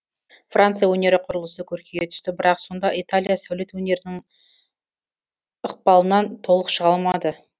франция өнері құрылысы көркейе түсті бірақ сонда италия сәулет өнерінің ьқпалынан толық шыға алмады